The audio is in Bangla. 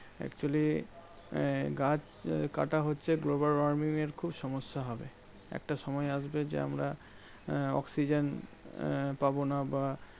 Actually গাছ কাটা হচ্ছে global warming এর খুব সমস্যা হবে। একটা সময় আসবে যে, আমরা আহ oxygen আহ পাবনা বা